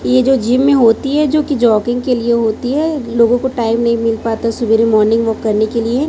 ये जो जिम में होती है जो कि जॉगिंग के लिए होती है लोगों को टाइम नहीं मिल पाता सवेरे मॉर्निंग वॉक करने के लिए।